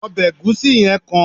obe egusi yen kan